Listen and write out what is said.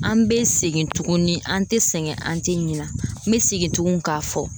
An bɛ segin tuguni , an tɛ sɛgɛn , an tɛ ɲinɛ, n bɛ segin tugun k'a fɔ.